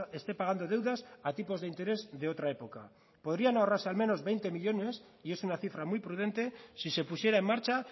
esté pagando deudas a tipos de interés de otra época podrían ahorrarse al menos veinte millónes y es una cifra muy prudente si se pusiera en marcha